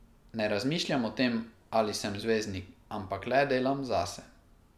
Ne razmišljam o tem, ali sem zvezdnik, ampak le delam zase.